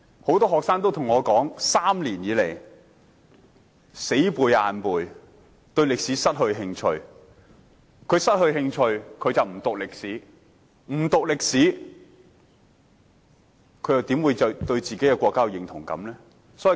很多學生對我說，他們3年不停死啃硬背，已對歷史失去興趣，因此不願修讀，不讀歷史，他們又怎會對自己國家產生認同感？